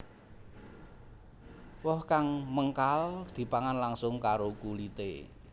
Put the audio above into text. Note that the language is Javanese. Woh kang mengkal dipangan langsung karo kulité